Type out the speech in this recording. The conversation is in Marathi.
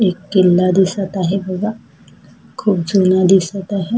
एक किल्ला दिसत आहे बघा खुप जूना दिसत आहे.